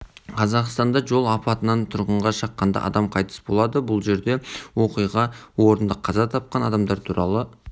қазақстанда жол апатынан тұрғынға шаққанда адам қайтыс болады бұл жерде оқиға орнында қаза тапқан адамдар туралы